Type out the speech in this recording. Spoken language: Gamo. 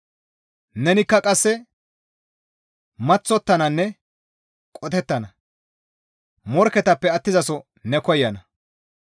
Nenikka qasse maththottananne qotettana; morkketappe attizaso ne koyana.